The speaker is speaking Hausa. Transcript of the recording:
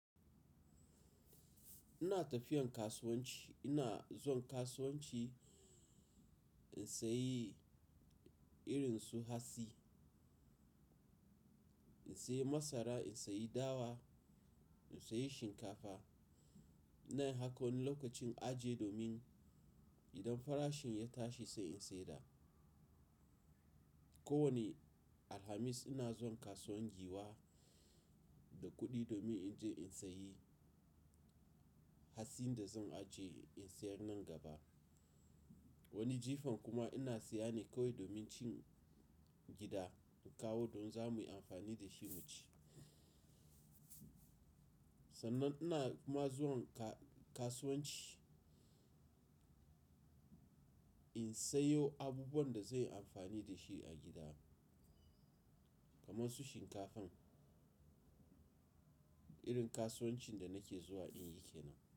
Ina tafiyan kasuwanci, ina zuwan kasuwanci in sayi irin su hatsi, in sayi masara, in sayi dawa, in sayi shinkafa. iNa yi haka wani lokacin aje domin idan farashin ya tashi sai in sayar. Ko wane Alhamis ina zuwan kasuwan Giwa da kuɗi domin in je in sayi hatsin da zan ajiye in sayar nan gaba. Wani jifan kuma ina siya ne kawai domin cin gida in kawo don za mu yi amfani da shi mu ci. Sannan ina kuma zuwan ka-kasuwanci in sayo abubuwan da zanyi amfani da shi a gida kamar su shinkafan. Irin kasuwancin da nake zuwa in yi kenan.